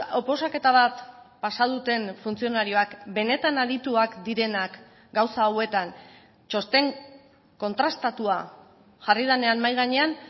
oposaketa bat pasa duten funtzionarioak benetan adituak direnak gauza hauetan txosten kontrastatua jarri denean mahai gainean